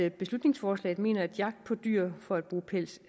i beslutningsforslaget mener at jagt på dyr for at bruge pelsene